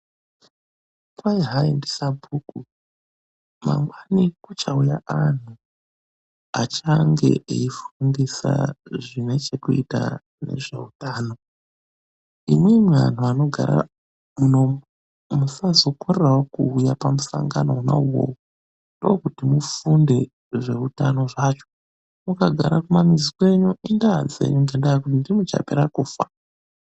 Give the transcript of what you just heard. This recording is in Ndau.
Kwai hayi ndisabhuku ,,mangwani kuchauya antu achange eifundisa zvinechekuita nezveutano. Imwimwi anhtu anogara munomu musazokorerawo kuuya pamusangano wona uwowo. Ndookuti mufunde zveutano zvacho, mukagara kumamizi kwenyu indaa dzenyu ngendaa yekuti ndimwi muchapera kufa.